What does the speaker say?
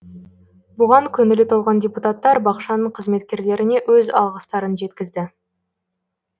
бұған көңілі толған депутаттар бақшаның қызметкерлеріне өз алғыстарын жеткізді